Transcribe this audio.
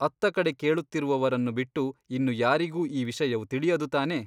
ಅತ್ತಕಡೆ ಕೇಳುತ್ತಿರುವವರನ್ನು ಬಿಟ್ಟು ಇನ್ನು ಯಾರಿಗೂ ಈ ವಿಷಯವು ತಿಳಿಯದು ತಾನೇ ?